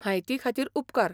म्हायती खातीर उपकार.